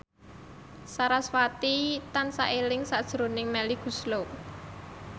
sarasvati tansah eling sakjroning Melly Goeslaw